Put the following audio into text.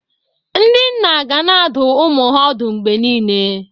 Ndị nna ga na-adụ ụmụ ha ọdụ mgbe niile.